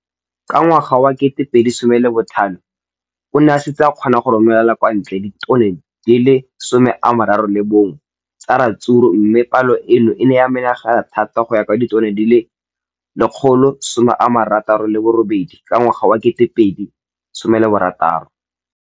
Ka ngwaga wa 2015, o ne a setse a kgona go romela kwa ntle ditone di le 31 tsa ratsuru mme palo eno e ne ya menagana thata go ka nna ditone di le 168 ka ngwaga wa 2016.